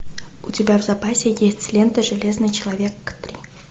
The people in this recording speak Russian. у тебя в запасе есть лента железный человек три